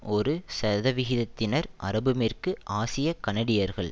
ஒரு சதவிகிதத்தினர் அரபுமேற்கு ஆசிய கனடியர்கள்